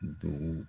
Dugu